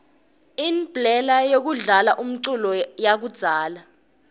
inblela yekudlala umculo yakudzala